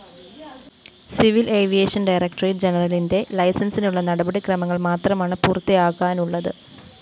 civil aviation directorate ജനറലിന്റെ ലൈസന്‍സിനുളള നടപടിക്രമങ്ങള്‍ മാത്രമാണ് പൂര്‍ത്തിയാകാനുളളത്